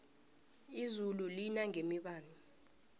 izulu elinangebibani